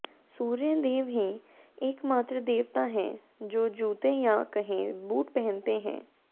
सूर्य देव ही एकमात्र देवता हैं जो जूते या कहें बूट पहनते हैं